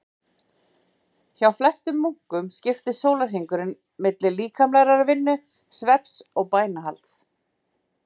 Hjá flestum munkum skiptist sólarhringurinn milli líkamlegrar vinnu, svefns og bænahalds.